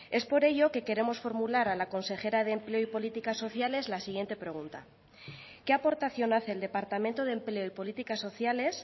es por ello que queremos formular a la consejera de empleo y políticas sociales la siguiente pregunta qué aportación hace el departamento de empleo y políticas sociales